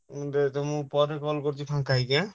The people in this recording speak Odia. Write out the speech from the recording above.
ତମକୁ ପରେ କଲ କରୁଛି ହାଁ ଫାଙ୍କା ହେଇକି ଆଁ।